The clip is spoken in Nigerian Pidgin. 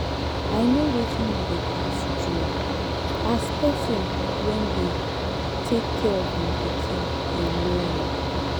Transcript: i know wetin you dey pass through as person wey dey take care of im pikin alone